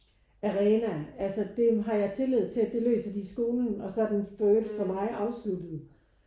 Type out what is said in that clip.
Arena altså det har jeg tillid til at det løser de i skolen og så er den følt for mig afsluttet